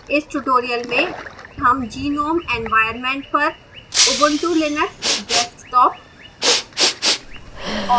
इस tutorial में हम gnome environment पर ubuntu linux desktop